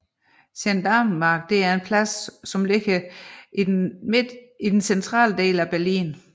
Gendarmenmarkt er en plads beliggende i det centrale Berlin